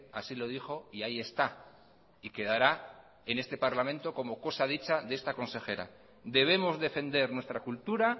así lo dijo y ahí está y quedará en este parlamento como cosa dicha de esta consejera debemos defender nuestra cultura